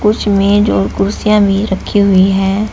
कुछ मेज और कुर्सियां भी रखी हुई हैं।